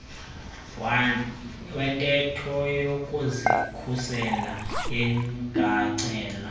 wentetho yokuzikhusela lingacela